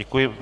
Děkuji.